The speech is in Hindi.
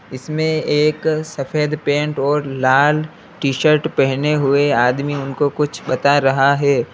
इसमें एक सफेद पेंट और लाल टी- शर्ट पहने हुए आदमी उनको कुछ बता रहा है।